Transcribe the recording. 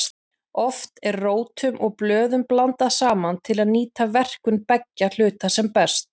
Oft eru rótum og blöðum blandað saman til að nýta verkun beggja hluta sem best.